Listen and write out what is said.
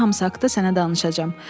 Bunların hamısı haqqında sənə danışacağam.